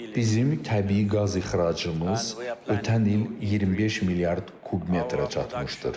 Bizim təbii qaz ixracımız ötən il 25 milyard kubmetrə çatmışdır.